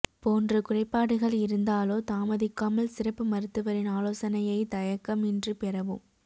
போன்ற குறைபாடுகள் இருந்தாலோ தாமதிக்காமல் சிறப்பு மருத்துவரின் ஆலோசனையை தயக்கமின்றி பெறவும்